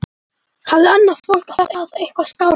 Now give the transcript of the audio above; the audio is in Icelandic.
Hafði annað fólk það eitthvað skárra?